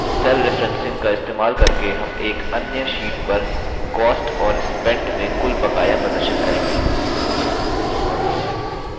अब cell referencing का इस्तेमाल करके हम एक अन्य sheet पर cost और spent में कुल बकाया प्रदर्शित करेंगे